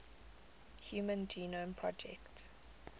human genome project